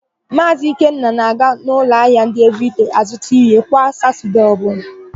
Maazị Ikenna na-aga n'ụlọahịa ndị Evịrịdei azụta íhé kwa Satọdee ọbụla.